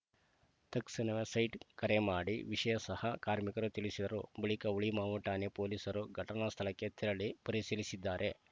ತಕ್ಷಣವೇ ಸೈಟ್‌ ಕರೆ ಮಾಡಿ ವಿಷಯ ಸಹ ಕಾರ್ಮಿಕರ ತಿಳಿಸಿದರು ಬಳಿಕ ಹುಳಿಮಾವು ಠಾಣೆ ಪೊಲೀಸರು ಘಟನಾ ಸ್ಥಳಕ್ಕೆ ತೆರಳಿ ಪರಿಶೀಲಿಸಿದ್ದಾರೆ